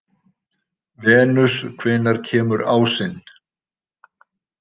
Venus, hvenær kemur ásinn?